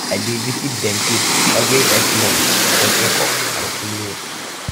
i dey visit dentist every eight months for checkup and cleaning